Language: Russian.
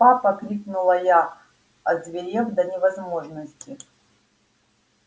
папа крикнула я озверев до невозможности